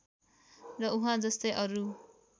र उहाँजस्तै अरू